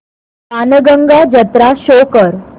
बाणगंगा जत्रा शो कर